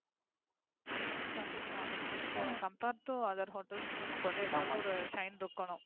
கண்டிப்பா, மிச்ச Compare to other hotels நமக்கு வந்து ஏதாவது Shine இருக்கனும்.